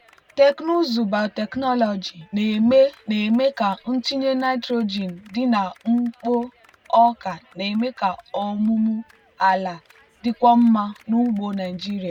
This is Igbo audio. teknụzụ biotechnology na-eme na-eme ka ntụnye nitrogen dị na mkpo ọka na-eme ka ọmụmụ ala dịkwuo mma n'ugbo nigeria.